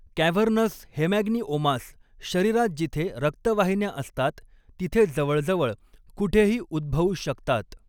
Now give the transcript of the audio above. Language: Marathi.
कॅव्हर्नस हेमॅन्गिओमास शरीरात जिथे रक्तवाहिन्या असतात तिथे जवळजवळ कुठेही उद्भवू शकतात.